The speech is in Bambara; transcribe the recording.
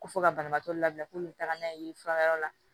Ko fɔ ka banabaatɔ labɛn ko n bɛ taa n'a ye furayɔrɔ la